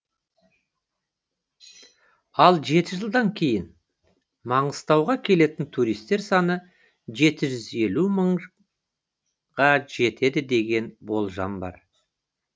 ал жеті жылдан кейін маңғыстауға келетін туристер саны жеті жүз елу мыңға жетеді деген болжам бар